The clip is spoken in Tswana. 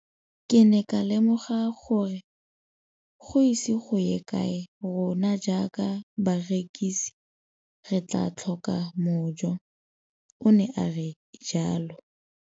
Ke ne ka lemoga gore go ise go ye kae rona jaaka barekise re tla tlhoka mojo, o ne a re jalo.